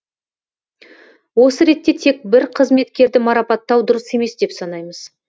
осы ретте тек бір қызметкерді марапаттау дұрыс емес деп санаймыз